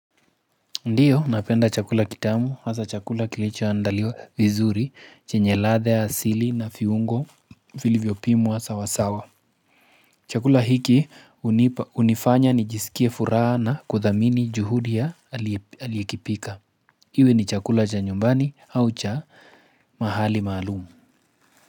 Ndiyo, napenda chakula kitamu, hasa chakula kilichoandaliwa vizuri, chenye ladha ya asili na viungo vilivyopimwa sawasawa. Chakula hiki hunifanya nijisikie furaha na kuthamini juhudi ya aliyekipika. Iwe ni chakula cha nyumbani au cha mahali maalumu.